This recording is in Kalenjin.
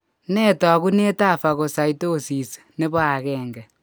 Nee taakunetaab Fucossidosis nebo 1?